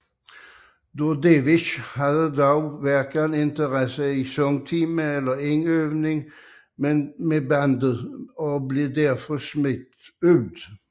Dordevic havde dog hverken interesse i sangtimer eller indøvning med bandet og blev derfor smidt ud